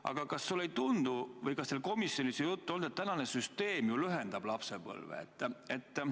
Aga kas sulle ei tundu või kas teil komisjonis ei ole juttu olnud, et praegune süsteem ju lühendab lapsepõlve?